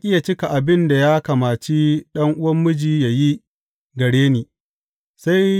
Ya ƙi yă cika abin da ya kamaci ɗan’uwan miji yă yi gare ni.